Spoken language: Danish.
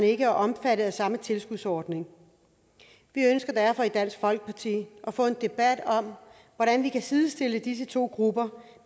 ikke er omfattet af samme tilskudsordning vi ønsker derfor i dansk folkeparti at få en debat om hvordan vi kan sidestille disse to grupper